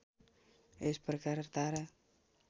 यस प्रकार तारा